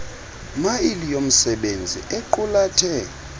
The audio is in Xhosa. mail yomsebenzisi equlathe